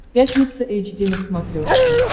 пятница эйч ди на смотрешке